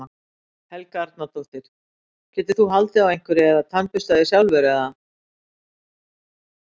Helga Arnardóttir: Getur þú haldið á einhverju eða tannburstað þig sjálfur eða?